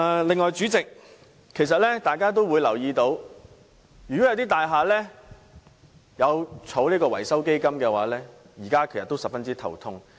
另外，代理主席，大家也會留意到，一些設有維修基金的大廈現時也十分頭痛。